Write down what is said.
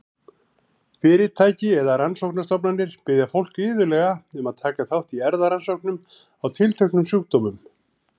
Fyrirtæki eða rannsóknastofnanir biðja fólk iðulega um að taka þátt í erfðarannsóknum á tilteknum sjúkdómum.